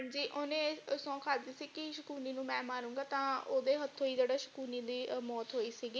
ਹਾਂਜੀ ਓਹਨੇ ਸੌਂਹ ਖਾਦੀ ਸੀ ਕਿ ਸ਼ਕੁਨੀ ਨੂੰ ਮੈਂ ਮਰੂੰਗਾ ਤਾਂ ਓਦੇ ਹੱਥੋਂ ਹੀ ਸ਼ਕੁਨੀ ਦੀ ਮੌਤ ਹੋਈ ਸੀਗੀ।